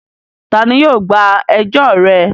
Ta ni yóò gba ẹjọ́ rẹ?